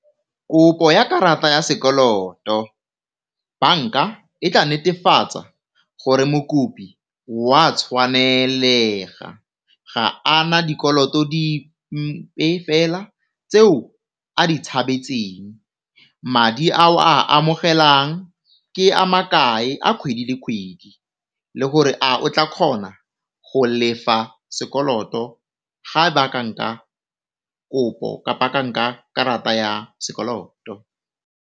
Kopo ya karata ya sekoloto, banka e tla netefatsa gore mokopi wa tshwanelega ga a na dikoloto dipe fela tseo a di tshabetseng, madi ao a amogelang ke a ma kae a kgwedi le kgwedi le gore a o tla kgona go lefa sekoloto ga e ba a ka nka kopo, kapa a ka nka karata ya sekoloto.